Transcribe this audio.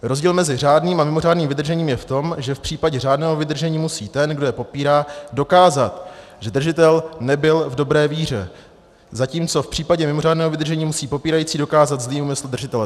Rozdíl mezi řádným a mimořádným vydržením je v tom, že v případě řádného vydržení musí ten, kdo je popírá, dokázat, že držitel nebyl v dobré víře, zatímco v případě mimořádného vydržení musí popírající dokázat zlý úmysl držitele.